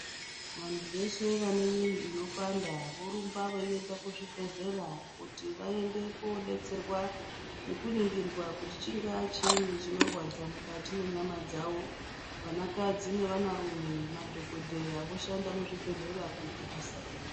Vantu veshe vane mwiiri inopanda vorumba veienda kuzvibhehlera kuti vaende koodetserwa ngekuningirwa kuti chingaa chiinyi chinorwadza mukati mwenyama dzawo. Vanakadzi nevanarume, madhogodheya voshanda muzvibhehlera kuita basa iri.